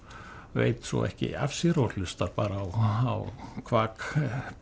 veit svo ekki af sér og hlustar bara á kvak